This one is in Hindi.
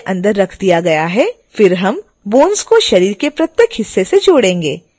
फिर हम bones को शरीर के प्रत्येक हिस्से से जोड़ेंगे